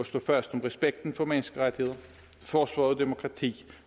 stå fast om respekten for menneskerettigheder forsvare demokrati